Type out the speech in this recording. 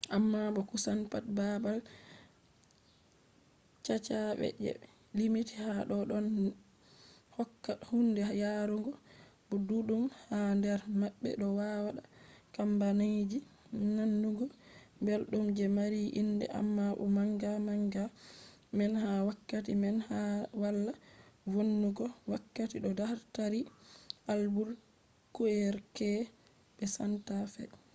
amma bo kusan pat baabal caca je be limti ha do ɗon hokka hunde yarugo bo ɗuɗɗum ha nder maɓɓe do wadda kambaniji nanugo belɗum je mari inde amma bo manga manga man ha wakati man wala vonnugo wakati do tari albuquerque be santa fe